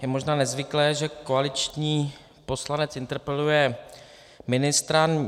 Je možná nezvyklé, že koaliční poslanec interpeluje ministra.